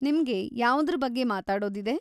ನಿಮ್ಗೆ ಯಾವ್ದ್ರ್‌ ಬಗ್ಗೆ ಮಾತಾಡೋದಿದೆ?